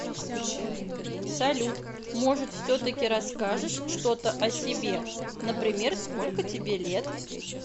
салют может все таки расскажешь что то о себе например сколько тебе лет